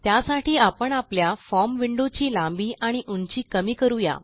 त्यासाठी आपण आपल्या फॉर्म विंडो ची लांबी आणि उंची कमी करू या